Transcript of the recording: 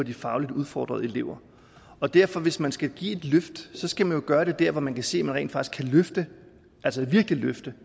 de fagligt udfordrede elever og derfor hvis man skal give et løft skal man jo gøre det der hvor man kan se at man rent faktisk kan løfte altså virkelig løfte